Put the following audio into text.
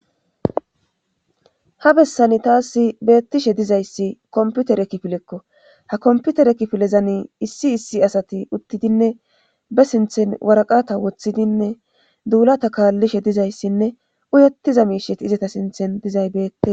ha bessani taasi beettishe dizayssi komputere kifilekko ha komputere kifilezani issi issi asati uttidinne be sinthen waraqata woththidinne duulata kaallishe dizayssinne uyettiza miishet izata sinthen dizay beette